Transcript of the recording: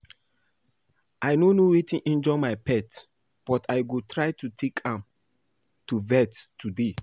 I no know wetin injure my pet but I go try to take am to vet today